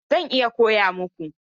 I mana! Zan iya koya muku.